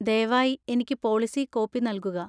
ദയവായി എനിക്ക് policy copy നൽകുക.